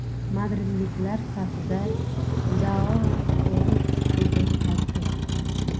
Madridliklar safida Joau Feliks dubl qayd etdi.